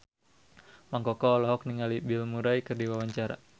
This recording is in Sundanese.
Mang Koko olohok ningali Bill Murray keur diwawancara